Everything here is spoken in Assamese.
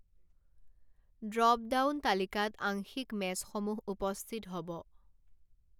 ড্ৰপডাউন তালিকাত আংশিক মেচসমূহ উপস্থিত হব।